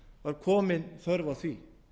var komin þörf á því